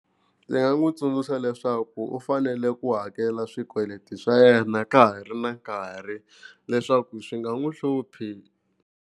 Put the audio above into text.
Ndzi nga n'wi tsundzuxa leswaku u fanele ku hakela swikweleti swa yena ka ha ri na nkarhi leswaku swi nga n'wi hluphi.